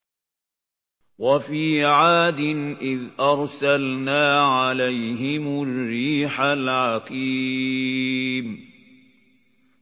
وَفِي عَادٍ إِذْ أَرْسَلْنَا عَلَيْهِمُ الرِّيحَ الْعَقِيمَ